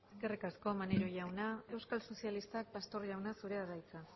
euskal sozialistak pastor jauna zurea da hitza